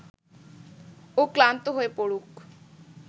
ও ক্লান্ত হয়ে পড়ুক